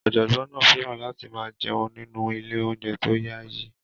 Ọ̀jọ̀gbọ́n náà fẹ́ràn láti máa jẹun nínú ilé-oúnjẹ tó yaayi.